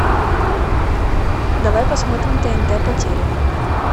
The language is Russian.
давай посмотрим тнт по телеку